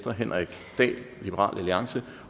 henrik dahl